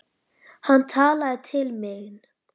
Hann talaði til mín.